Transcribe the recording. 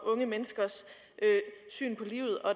unge menneskers syn på livet og